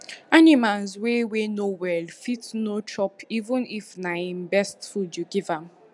animals wey wey no well fit no chopeven if na he best food you give am